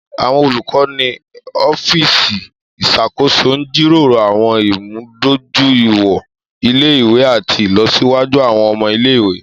Àwọn olukọ ni ọfiíìsiì iṣakoso n jiroro àwọn imudojuiwọn ile-iwe ati ilọsiwaju àwọn ọmọ ile-iwe.